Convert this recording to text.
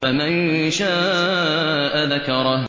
فَمَن شَاءَ ذَكَرَهُ